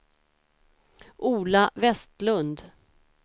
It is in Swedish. Ola Vestlund